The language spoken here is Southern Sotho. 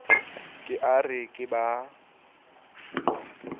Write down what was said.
ke a re ke ba